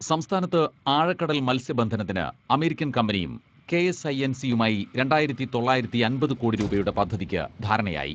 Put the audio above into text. സംസ്ഥാനത്ത് ആഴക്കടൽ മൽസ്യബന്ധനത്തിന് അമേരിക്കൻ കമ്പനിയും കെഎസ്ഐഎൻസിയുമായി രണ്ടായിരത്തി തൊള്ളായിരത്തിയമ്പത് കോടി രൂപയുടെ പദ്ധതിക്ക് ധാരണയായി.